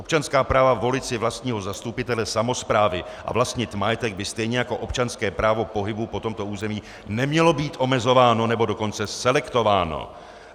Občanská práva volit si vlastního zastupitele samosprávy a vlastnit majetek by stejně jako občanské právo pohybu po tomto území neměla být omezována, nebo dokonce selektována.